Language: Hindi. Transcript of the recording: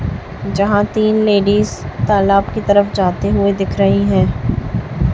यहां तीन लेडीस तालाब की तरफ जाते हुए दिख रही हैं।